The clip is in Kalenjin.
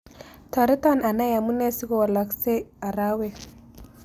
Tooreeton anai amunee sigowalaksek araawek